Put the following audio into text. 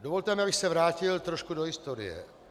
Dovolte mi, abych se vrátil trošku do historie.